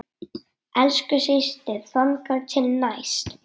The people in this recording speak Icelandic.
Elsku systir, þangað til næst.